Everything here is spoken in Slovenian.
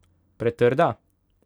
Pretrda?